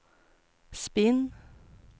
spinn